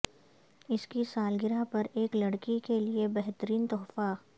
اس کی سالگرہ پر ایک لڑکی کے لئے بہترین تحفہ